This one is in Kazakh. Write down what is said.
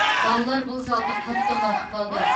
балалар бұл залды қатты ұнатып қалды